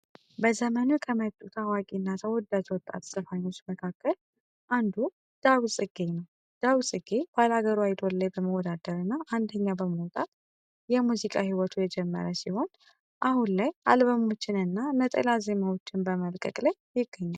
በዘመኑ ከመጡ ታዋቂ እና ተወዳጅ ወጣት ዘፋኞች መካከል አንዱ ዳዊት ጽጌ ነው። ዳዊት ጽጌ ባላገሩ አይዶል ላይ በመወዳደር እና አንደኛ በመውጣት የሙዚቃ ሂወቱ የጀመረ ሲሆን ላይ አሁን ላይ አልበሞችንን እና ነጠላ ዜማዎችን በመልቀቅ ላይ ይገኛል።